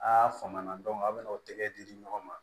A y'a fama na a bɛ n'o tɛgɛ di ɲɔgɔn ma